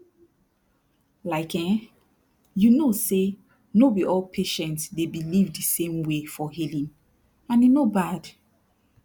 like eh you know say no be all patient dey believe de same way for healing and e no bad